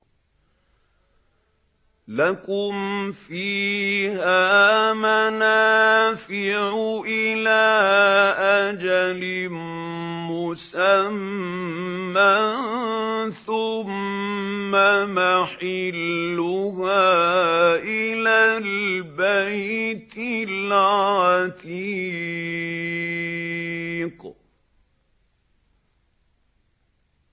لَكُمْ فِيهَا مَنَافِعُ إِلَىٰ أَجَلٍ مُّسَمًّى ثُمَّ مَحِلُّهَا إِلَى الْبَيْتِ الْعَتِيقِ